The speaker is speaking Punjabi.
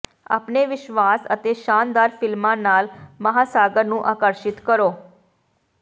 ਆਪਣੇ ਵਿਸ਼ਵਾਸ਼ ਅਤੇ ਸ਼ਾਨਦਾਰ ਫਿਲਮਾਂ ਨਾਲ ਮਹਾਸਾਗਰ ਨੂੰ ਆਕਰਸ਼ਿਤ ਕਰੋ